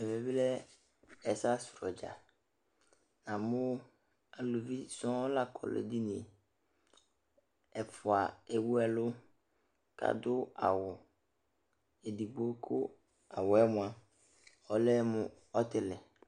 Ɛvɛ bɩ lɛ ɛsɛasʋ dza Namʋ aluvi sɔŋ la kɔ nʋ edini yɛ Ɛfʋa ewu ɛlʋ kʋ adʋ awʋ edigbo kʋ awʋ yɛ mʋa, ɔlɛ mʋ ɔtɩlɩ